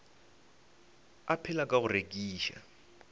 a phela ka go rekiša